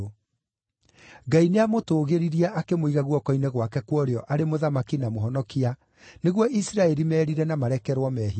Ngai nĩamũtũgĩririe akĩmũiga guoko-inĩ gwake kwa ũrĩo arĩ Mũthamaki na Mũhonokia nĩguo Isiraeli merire na marekerwo mehia.